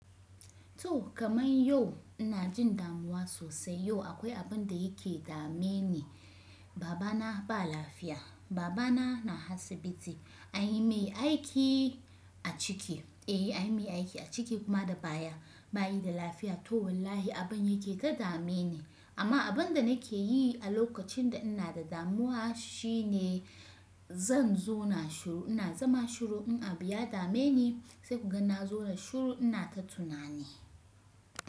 To kamar yau ina jin damuwa sosai. Yau akwai abin da yake dame ni. Baba na ba lafiya. Baba na na asibiti. Anyi mai aiki a ciki. Eh anyi mai aiki a ciki kuma da baya. Ba yi da lafiya to wallahi abin yake ta dame ni. Amma abin da na ke yi a lokacin da ina da damuwa shi ne zan zauna shiru. Ina zama shiru in abu ya dame ni sai kuga na zauna shiru ina ta tunani.